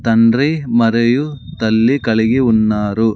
తండ్రి మరియు తల్లి కలిగి ఉన్నారు.